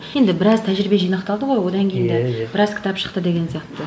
енді біраз тәжірибе жинақталды ғой одан кейін де біраз кітап шықты деген сияқты